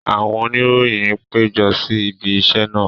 Àwọn oníròyìn pejọ si ibi isẹ naa.